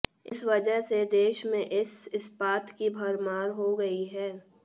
इस वजह से देश में इस इस्पात की भरमार हो गई है